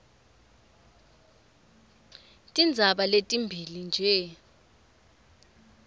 tindzaba letimbili nje